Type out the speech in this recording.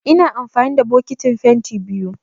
Ina amfani da bokitin fenti biyu